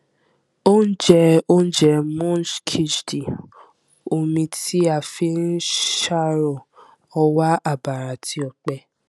ó ń jẹ oúnjẹ moong khichdi omi tí a fi ń ṣàrò ọwà àbàrà àti òpẹ